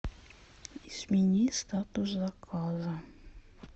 измени статус заказа